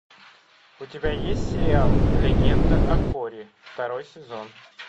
у тебя есть сериал легенда о корре второй сезон